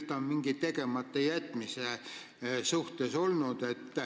Ta on midagi tegemata jätnud.